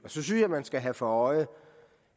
synes jeg at man skal have for øje